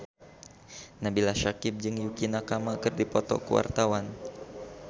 Nabila Syakieb jeung Yukie Nakama keur dipoto ku wartawan